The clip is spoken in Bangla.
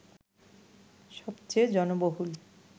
সবচেয়ে জনবহুল